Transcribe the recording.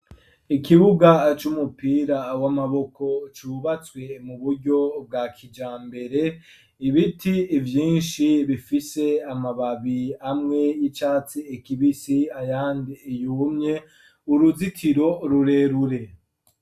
Ikibuga aca umupira awo amaboko cubatswe mu buryo bwa kija mbere ibiti ivyinshi bifise amababi amwe y'icatsi ekibisi ayandi iyumye uruzitiro rurerure.